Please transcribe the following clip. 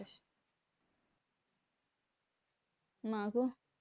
মা গোহ।